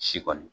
Si kɔni